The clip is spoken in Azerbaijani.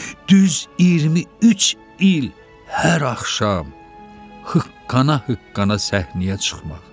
Düz 23 il hıqqana-hıqqana səhnəyə çıxırdı.